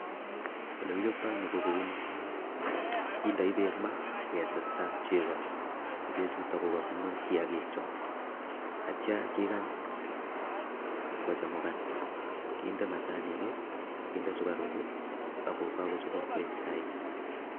Ole kichoptoi ni, ko kouni, kindoi beek maa ake testa chego, ko chechuto kokabunu kiyakik cho atya kikany kochemkan, kinde machanik, kinde sukaruk ako kakochopok koek chaik.